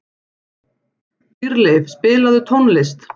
Dýrleif, spilaðu tónlist.